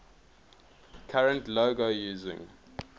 current logo using